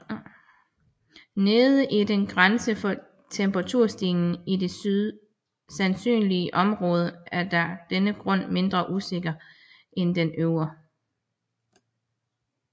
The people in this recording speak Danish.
Den nedre grænse for temperaturstigningen i det sandsynlige område er af denne grund mindre usikker end den øvre